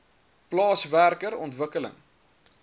plaas werker ontwikkeling